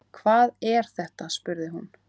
Hvað er þetta spurði hún.